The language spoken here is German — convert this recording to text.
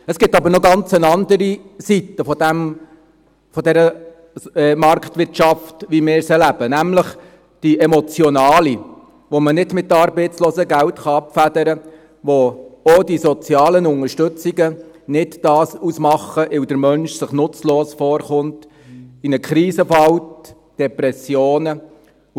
Es gibt jedoch noch eine ganz andere Seite dieser Marktwirtschaft, wie wir sie leben: nämlich die emotionale Seite, die man nicht mit Arbeitslosengeld abfedern kann, und wo auch die sozialen Unterstützungen keinen Unterschied ausmachen, weil sich der Mensch nutzlos vorkommt, in eine Krise gerät und Depressionen erleidet.